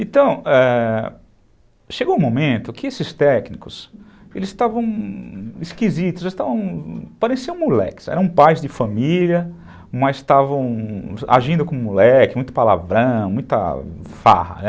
Então, ãh, chegou um momento que esses técnicos, eles estavam esquisitos, estavam... pareciam moleques, eram pais de família, mas estavam agindo como moleques, muito palavrão, muita farra, né.